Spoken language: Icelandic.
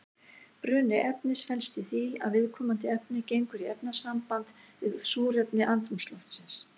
Bruni efnis felst í því að viðkomandi efni gengur í efnasamband við súrefni andrúmsloftsins.